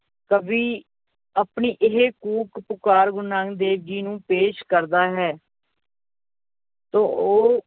ਕਵੀ ਆਪਣੀ ਇਹ ਕੂਕ ਪੁਕਾਰ ਗੁਰੂ ਨਾਨਕ ਦੇਵ ਜੀ ਨੂੰ ਪੇਸ਼ ਕਰਦਾ ਹੈ ਤੇ ਉਹ,